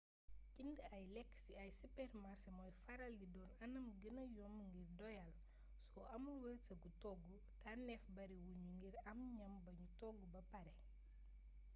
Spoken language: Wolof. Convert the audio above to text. jënd ay lekk ci ay sipeermasé mooy faral di doon anam gëna yomb ngir doyal soo amul wërsëgu togg tànnéef bari wuñu ngir am ñam buñu togg ba paré